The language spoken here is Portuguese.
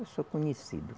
Eu sou conhecido.